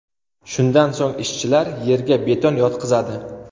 Shundan so‘ng ishchilar yerga beton yotqizadi.